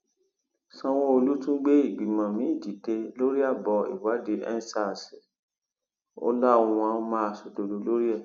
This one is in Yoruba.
sanwóolu tún gbé ìgbìmọ miín dìde lórí abọ ìwádìí endsars ó láwọn máa ṣòdodo lórí ẹ